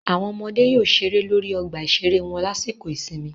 Àwọn ọmọdé yóò ṣeré lórí ọgbà ìṣeré wọn lásìkò ìsinmi